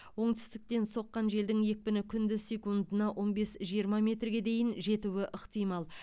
оңтүстіктен соққан желдің екпіні күндіз секундына он бес жиырма метрге дейін жетуі ықтимал